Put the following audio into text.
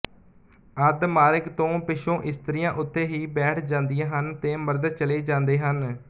ਅੱਧ ਮਾਰਗ ਤੋਂ ਪਿਛੋਂ ਇਸਤਰੀਆਂ ਉਥੇ ਹੀ ਬੈਠ ਜਾਂਦੀਆ ਹਨ ਤੇ ਮਰਦ ਚਲੇ ਜਾਂਦੇ ਹਨ